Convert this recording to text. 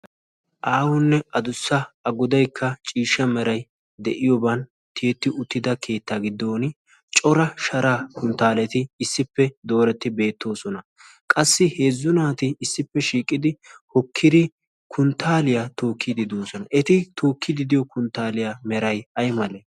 Aahonne addussa a goddaykka ciishshaa meray de'iyoban tiyeti uttida keettaa giddon cora sharaa kunttaaleti issippe dooreti beettoosona. Qassi heezzu naati issippe shiiqqidi hokkidi kunttaaliya tookkidi de'oosona eti tookkidi de'iyo kunttaaliya meray ay male?